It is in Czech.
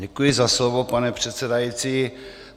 Děkuji za slovo, pane předsedající.